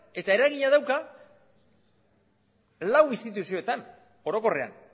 eta eragina dauka lau instituzioetan orokorrean